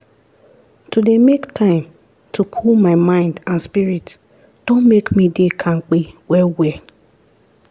to dey make time to cool my mind and spirit don make me dey kampe well well